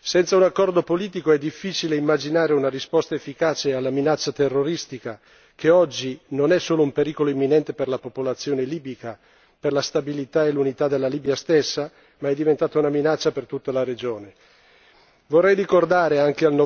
Senza un accordo politico, è difficile immaginare una risposta efficace alla minaccia terroristica che oggi non è solo un pericolo imminente per la popolazione libica, per la stabilità e l'unità della Libia stessa, ma è diventata una minaccia per tutta la regione.